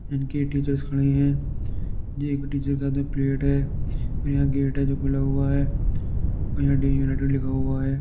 इनके टीचर्स खड़े हैं। एक टीचर के हाथ में प्लेट है। यहाँ गेट है जो खुला हुआ है और यहाँ डे यूनाइटेड लिखा हुआ है।